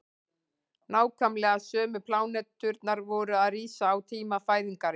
nákvæmlega sömu pláneturnar voru að rísa á tíma fæðingarinnar